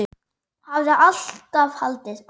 Hafði alltaf haldið.